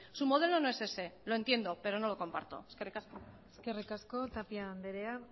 su modelo no es ese lo entiendo pero no lo comparto eskerrik asko eskerrik asko tapia andrea